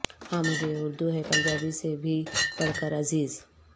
ہاں مجھے اردو ہے پنجابی سے بھی بڑھ کر عزیز